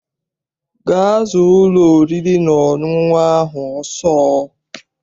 Gaa zaa ụlọ oriri na ọṅụṅụ ahụ ọsọ!